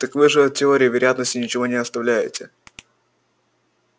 так вы же от теории вероятности ничего не оставляете